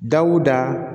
Dawuda